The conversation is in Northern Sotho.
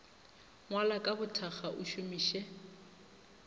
ngwala ka bothakga o šomiše